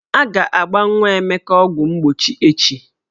A ga-agba nwa Emeka ọgwụmgbochi echi.